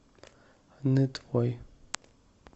нытвой